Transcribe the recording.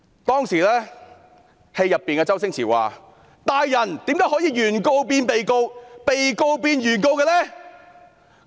當時，戲中的周星馳說："大人，怎可以把原告變被告，被告變原告呢？